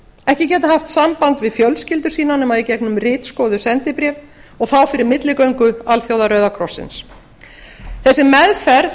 ekki getað haft samband við fjölskyldur sínar nema í gegnum ritskoðuð sendibréf og þá fyrir milligöngu alþjóða rauða krossins þessi meðferð